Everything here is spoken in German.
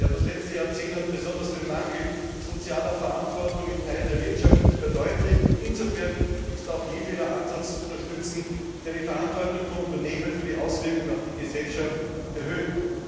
Das letzte Jahrzehnt hat besonders den Mangel an sozialer Verantwortung in Teilen der Wirtschaft verdeutlicht, und insofern ist auch jedweder Ansatz zu unterstützen, der die Verantwortung von Unternehmen für die Auswirkung auf die Gesellschaft erhöht.